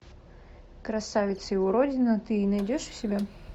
красавица и уродина ты найдешь у себя